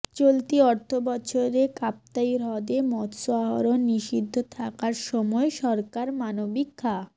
চলতি অর্থবছরে কাপ্তাই হ্রদে মৎস্য আহরণ নিষিদ্ধ থাকার সময়ে সরকার মানবিক খা